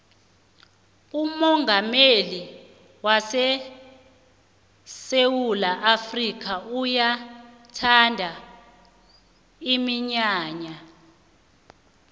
umongameli wesewula afrika uyayithanda iminyanya